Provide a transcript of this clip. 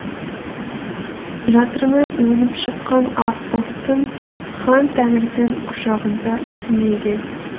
жатырынан өніп шыққан ақ бұлттың хан тәңірдің құшағында түнеген